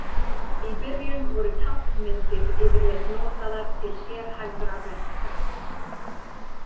Í byrjun voru táknmyndir yfirleitt notaðar til sérhæfðra verka.